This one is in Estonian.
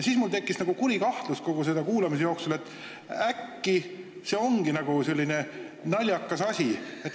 Mul tekkis kuulamise jooksul kuri kahtlus, et äkki see ongi nagu selline naljakas asi.